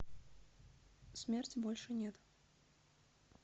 смерти больше нет